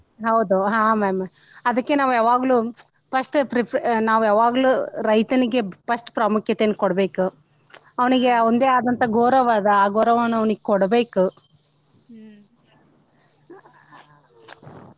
ಹೌದು ಹಾ ma'am . ಅದ್ಕೆ ನಾವ ಯಾವಾಗ್ಲೂ first pref ನಾವ ಯಾವಾಗ್ಲೂ ರೈತನಿಗೆ first ಪ್ರಾಮುಖ್ಯತೆಯನ್ನು ಕೊಡ್ಬೇಕು ಅವ್ನಿಗೆ ಅವಂದೇ ಆದಂತಾ ಗೌರವಾ ಅದ ಆ ಗೌರವಾ ಅವ್ನಿಗೆ ಕೊಡಬೇಕು .